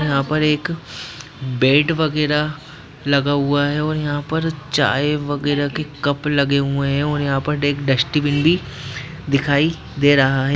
यहाँ पर एक बेड वगेरा लगा हुआ है और यहाँ पर चाय वगेरा के कप लगे हुए हैं और यहाँ पर एक डस्‍टबीन भी दिखाई दे रहा है।